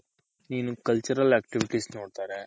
ನೀನು cultural activities ನೋಡ್ತಾರೆ.